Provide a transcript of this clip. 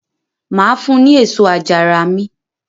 Mà á fun ní èso àjàrà mi.